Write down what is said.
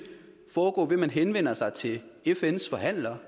foregå ved at man henvender sig til fns forhandler